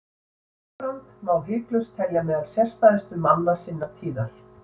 Guðbrand má hiklaust telja meðal sérstæðustu manna sinnar tíðar.